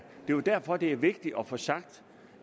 jo derfor det er vigtigt at få sagt